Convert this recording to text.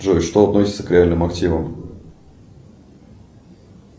джой что относится к реальным активам